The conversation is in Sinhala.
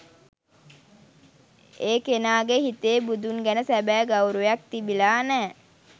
ඒ කෙනාගෙ හිතේ බුදුන් ගැන සැබෑ ගෞරවයක් තිබිලා නෑ.